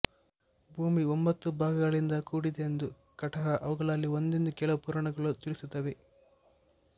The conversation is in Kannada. ಭೂಮಿ ಒಂಬತ್ತು ಭಾಗಗಳಿಂದ ಕೂಡಿದುದೆಂದೂ ಕಟಾಹ ಅವುಗಳಲ್ಲಿ ಒಂದೆಂದೂ ಕೆಲವು ಪುರಾಣಗಳು ತಿಳಿಸುತ್ತವೆ